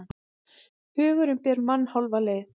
Hugurinn ber mann hálfa leið.